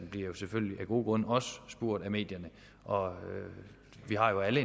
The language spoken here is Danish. bliver jo selvfølgelig af gode grunde også spurgt af medierne og vi har jo alle